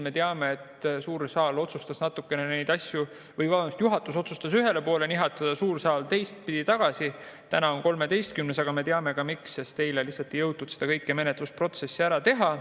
Me teame, et juhatus otsustas neid asju ühele poole nihutada, suur saal teistpidi tagasi, täna on 13., aga me teame ka, miks nii läks: eile lihtsalt ei jõutud kogu seda menetlusprotsessi läbi teha.